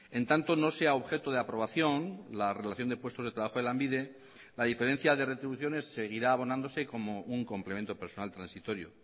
en tanto no sea objeto de aprobación la relación de puestos de trabajo de lanbide la diferencia de retribuciones seguirá abonándose como un complemento personal transitorio